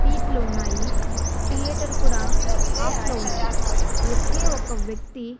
సీట్లు ఉన్నాయి థియేటర్ కూడా ఆఫ్ లో ఉన్నాయ్ ఒకే ఒక వ్యక్తి--